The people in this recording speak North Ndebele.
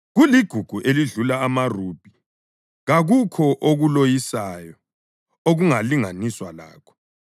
Kuligugu elidlula amarubhi; kakukho okuloyisayo okungalinganiswa lakho.